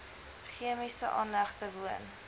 chemiese aanlegte woon